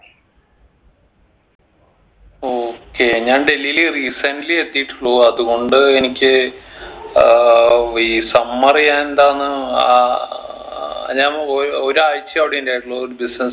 okay ഞാൻ ഡൽഹിയിൽ recently എത്തീട്ടുള്ളു അത്കൊണ്ട് എനിക്ക് ഏർ ഈ summer ഞാൻ എന്താന്ന് ആഹ് ഞാൻ ഒ ഒരാഴ്ചയെ അവിടെ ഉണ്ടായിട്ടുള്ളു ഒരു business